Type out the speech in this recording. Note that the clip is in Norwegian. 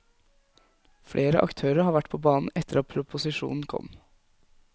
Flere aktører har vært på banen etter at proposisjonen kom.